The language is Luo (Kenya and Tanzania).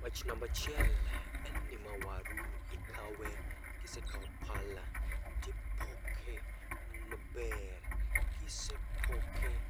Wach nambachiel en ni ma waru, ikawe kisekao tipoke maber. Kisepoke